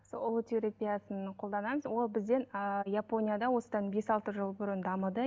сол ұлы терапиясын қолданамыз ол бізден ыыы японияда осыдан бес алты жыл бұрын дамыды